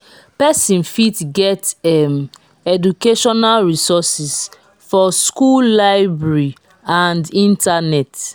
persin fit get um educational resources for school library or internet